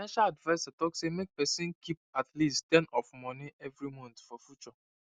financial adviser talk say make person keep at least ten of moni every month for future